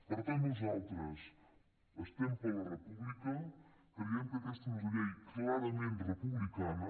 per tant nosaltres estem per la república creiem que aquesta és una llei clarament republicana